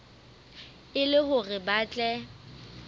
e le hore ba tle